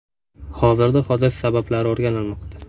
Hozirda hodisa sabablari o‘rganilmoqda.